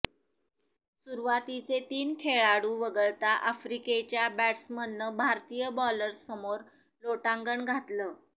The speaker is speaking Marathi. सुरुवातीचे तीन खेळाडू वगळता आफ्रिकेच्या बॅट्समननं भारतीय बॉलर्ससमोर लोटांगण घातलं